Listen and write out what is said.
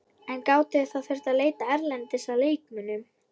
En þið gætuð þá þurft að leita erlendis að leikmönnum?